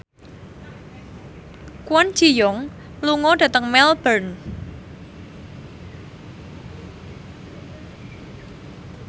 Kwon Ji Yong lunga dhateng Melbourne